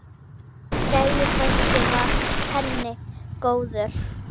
Gæi frændi var penni góður.